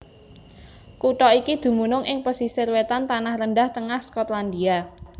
Kutha iki dumunung ing pesisir wétan tanah rendah tengah Skotlandia